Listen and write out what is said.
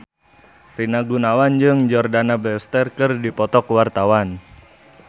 Rina Gunawan jeung Jordana Brewster keur dipoto ku wartawan